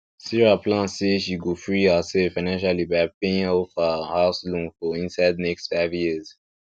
sarah plan say she go free herself financially by paying off her house loan for inside next five years